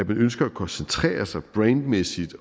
man ønsker at koncentrere sig brainmæssigt